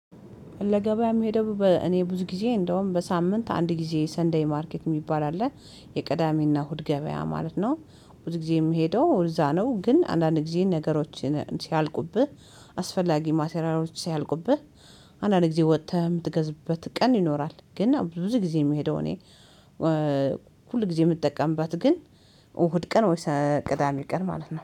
ለገበያ የሚሄደው በእኔ ብዙ ጊዜ እንደውም በሳምንት አንድ ጊዜ ሰንደይ ማርኬት የሚባል አለ የቀዳሚና እሁድ ገበያ ማለት ነው። ብዙ ጊዜ የምሄደው እዛ ነው። ግን አንዳንድ ጊዜ ነገሮችን ሲያልቁብህ አስፈላጊ ማቴሪያሎች ሲያልቁብህ አንዳንድ ጊዜ ወጥተህም የምትገዛበት ቀን ይኖራል። ግን ብዙ ጊዜ የምሄደው እኔ። ሁል ጊዜ የምጠቀምባት ግን እሁድ ቀን ወይስ ቅዳሜ ቀን ማለት ነው